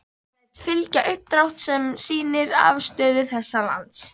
Læt ég fylgja uppdrátt., sem sýnir afstöðu þessa lands.